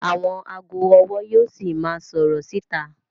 Àwọn ago ọwọ yíò sì máa sọrọ síta